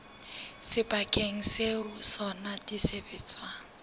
sebakeng seo ho sona disebediswa